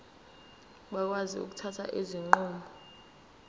bakwazi ukuthatha izinqumo